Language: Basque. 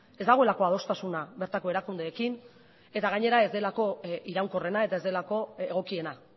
ez dagoelako adostasuna bertako erakundeekin eta gainera ez delako iraunkorrena eta ez delako egokiena